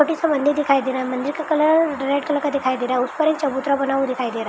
Hotel से मंदिर दिखाई दे रहा है| मंदिर का कलर रेड कलर का दिखाई दे रहा है | उस पर एक चबूतरा बना हुआ दिखाई दे रहा है।